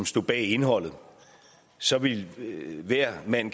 stod bag indholdet så ville hver mand